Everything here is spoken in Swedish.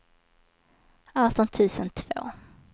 arton tusen två